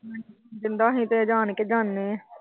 ਸੀ ਤਾਂ ਜਾਨ ਕੇ ਜਾਂਦੇ।